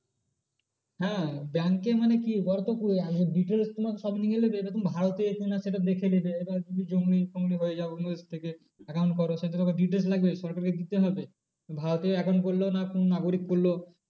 হ্যাঁ bank এ মানে কি ওরা তো পুরো একদম details তোমার সব নিয়ে নেবে। এরকম ভারতের কি না সেটা দেখে নেবে এবার তুমি যদি জঙ্গি ফঙ্গি হয়ে যাও অন্য দেশ থেকে account করো সেই তো তোকে details লাগবে সরকারকে দিতে হবে। ভারতীয় account করলো না কোন নাগরিক করলো